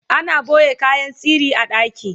ana ɓoye kayan sirri a ɗaki